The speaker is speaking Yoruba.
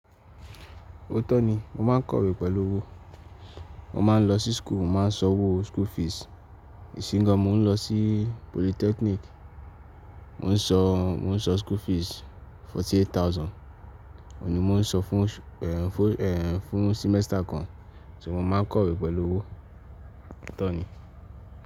Ó tó ni. Mo máa ń kọ̀wé pẹ̀lú owó. Mo máa ń lọ sí school, mo ma ń sọ owó school fees. Ìsín gán mo ń lọ sí polytechnic, mo ń sọ, mo ń sọ school fees forty eight thousand. Ó ni mo ń sọ fún, fún, fún semester kan. Ṣé mo máa ń kọ̀wé pẹ̀lú owó? Ó tó ni.